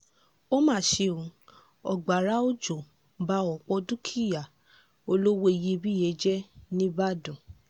ó mà ṣe ó agbára òjò ba ọ̀pọ̀ dúkìá olówó iyebíye jẹ́ nìbàdàn